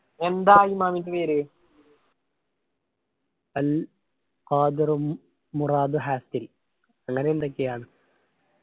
എന്താണ് അങ്ങനെ എന്തൊക്കെയാണ്